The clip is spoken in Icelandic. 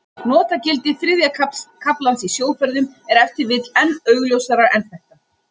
Notagildi þriðja kaflans í sjóferðum er ef til vill enn augljósara en þetta.